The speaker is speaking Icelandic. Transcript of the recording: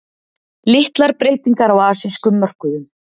Litlar breytingar á asískum mörkuðum